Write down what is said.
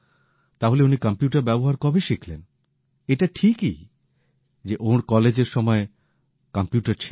তাহলে উনি কম্পিউটার ব্যবহার কবে শিখলেন এটা ঠিকই যে ওঁর কলেজের সময়ে কম্পিউটার ছিল না